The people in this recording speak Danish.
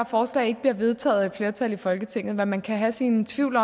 forslag ikke bliver vedtaget af et flertal i folketinget og man kan have sine tvivl